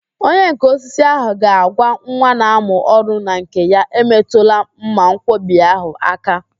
Onyenká osisi ahụ ga-agwa nwa na-amụ ọrụ na nke ya, emetụla mmanwkọbi ahụ áká